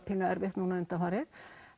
pínu erfitt núna undanfarið